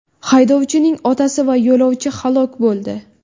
Haydovchining otasi va yo‘lovchi halok bo‘ldi.